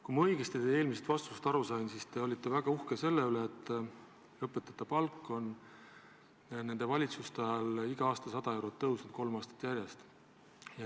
Kui ma teie eelmisest vastusest õigesti aru sain, siis te olete väga uhke selle üle, et õpetajate palk on nende valitsuste ajal igal aastal 100 eurot tõusnud, kolm aastat järjest.